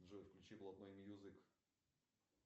джой включи блатной мьюзик